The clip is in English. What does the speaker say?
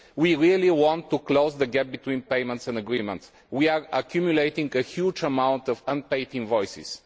We really want to close the gap between payments and commitments. We are accumulating a huge amount of unpaid invoices.